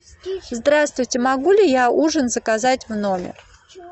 здравствуйте могу ли я ужин заказать в номер